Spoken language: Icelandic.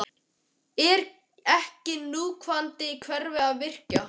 Er ekki núverandi kerfi að virka?